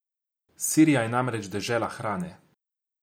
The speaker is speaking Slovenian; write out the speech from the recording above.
Sirija je namreč dežela hrane.